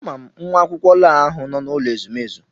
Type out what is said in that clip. Ama m nwa akwụkwọ lọọ ahụ nọ na n'ụlọ ezumezu.